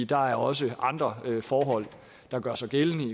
der er også andre forhold der gør sig gældende